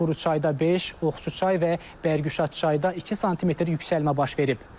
Quruçayda 5, Oxçuçay və Bərgüşadçayda 2 sm yüksəlmə baş verib.